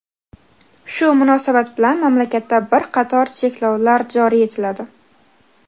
Shu munosabat bilan mamlakatda bir qator cheklovlar joriy etiladi.